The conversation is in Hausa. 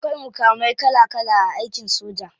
Akwai mukamai kala kala a aikin soja.